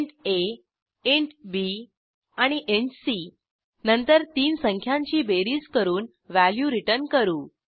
int a int b आणि int c नंतर तीन संख्यांची बेरीज करून व्हॅल्यू रिटर्न करू